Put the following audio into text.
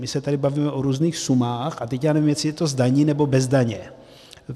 My se tady bavíme o různých sumách a teď já nevím, jestli je to s daní, nebo bez daně.